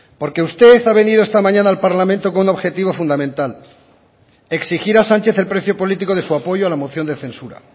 porque usted ha venido esta mañana al parlamento con un objetivo fundamental exigir a sánchez el precio político de su apoyo a la moción de censura